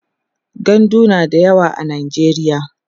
gandu na da yawa a najeriya